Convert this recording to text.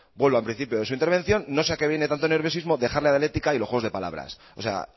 vuelvo al principio de su intervención no sé a qué viene tanto nerviosismo dejar la dialéctica y los juegos de palabras o sea